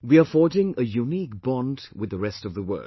We are forging a unique bond with the rest of the world